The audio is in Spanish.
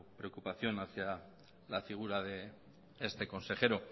preocupación hacia la figura de este consejero